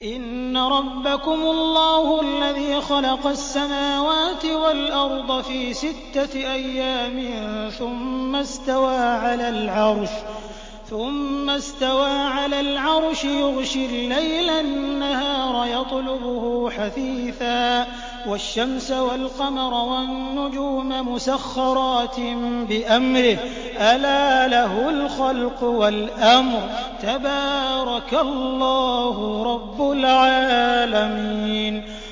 إِنَّ رَبَّكُمُ اللَّهُ الَّذِي خَلَقَ السَّمَاوَاتِ وَالْأَرْضَ فِي سِتَّةِ أَيَّامٍ ثُمَّ اسْتَوَىٰ عَلَى الْعَرْشِ يُغْشِي اللَّيْلَ النَّهَارَ يَطْلُبُهُ حَثِيثًا وَالشَّمْسَ وَالْقَمَرَ وَالنُّجُومَ مُسَخَّرَاتٍ بِأَمْرِهِ ۗ أَلَا لَهُ الْخَلْقُ وَالْأَمْرُ ۗ تَبَارَكَ اللَّهُ رَبُّ الْعَالَمِينَ